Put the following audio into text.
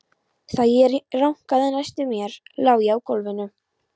Þegar ég rankaði næst við mér lá ég á gólfinu.